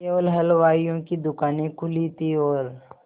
केवल हलवाइयों की दूकानें खुली थी और